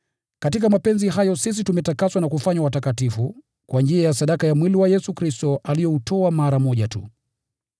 Katika mapenzi hayo sisi tumetakaswa na kufanywa watakatifu kwa njia ya sadaka ya mwili wa Yesu Kristo alioutoa mara moja tu.